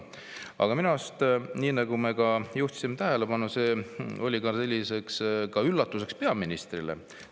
Aga minu arust, nii nagu me juhtisime tähelepanu, oli see üllatuseks ka peaministrile.